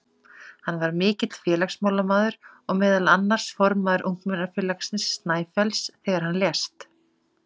Hann var mikill félagsmálamaður og meðal annars formaður ungmennafélagsins Snæfells þegar hann lést.